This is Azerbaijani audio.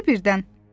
İkisi birdən.